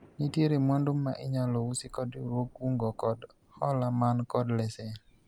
nitiere mwandu ma inyalo usi kod riwruog kungo kod hola man kod lesen